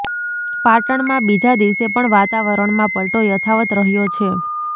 પાટણ માં બીજા દિવસે પણ વાતાવરણમાં પલ્ટો યથાવત રહ્યો છે